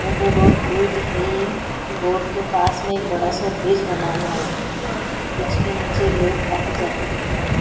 Matador खड़ी हुई दिख रही है रोड के पास एक बड़ा- सा ब्रिज बना हुआ है ब्रिज के नीचे लोग आते -जाते दिख रहै हैं।